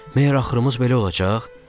Məyər axırımız belə olacaq?